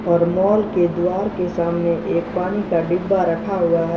और मॉल के द्वार के सामने एक पानी का डिब्बा रखा हुआ है।